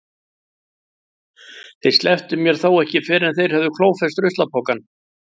Þeir slepptu mér þó ekki fyrr en þeir höfðu klófest ruslapokann.